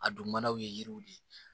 A dun manaw ye yiriw de ye